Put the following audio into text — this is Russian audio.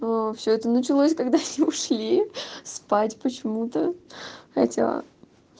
все это началось когда ушли спать почему-то хотела